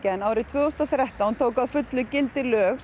en árið tvö þúsund og þrettán tóku að fullu gildi lög